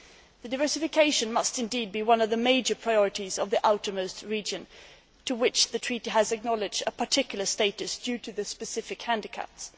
The diversification must indeed be one of the major priorities of the outermost regions to which the treaty has acknowledged a particular status due to their specific handicaps.